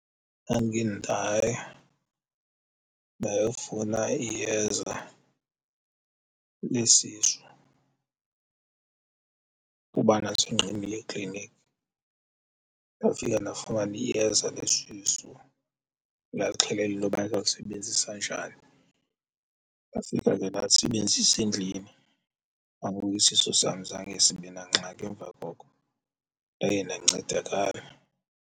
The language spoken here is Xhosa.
Ndandike ndaya ndayofuna iyeza lesisu kuba ndandise ndixhobile eklinikhi ndafika ndafumana iyeza lesisu ndaxelelwa intoba ndizawulisebenzisa njani, ndafika ke ndalisebenzisa endlini, nangoku isisu sam zange sibe nangxaki emva koko ndaye ndancedakala.